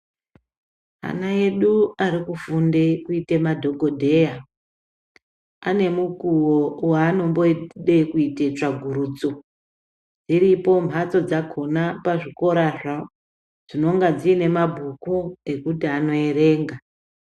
Ana edu arikufunde kuite madhokodheya. Ane mukuwo waanombode kuite tsvagurudzo. Iripo mbadzo dzakona pazvikorazvo, dzinonga dziine mabhuku ekuti anoerenga.